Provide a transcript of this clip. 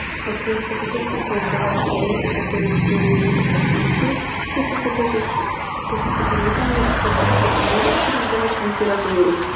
а просто какой смысл сдавать предметы которые тебе не нужны по профессии если ты хочешь поступить в музыкальное стать писателем не легче ли сдавать литературу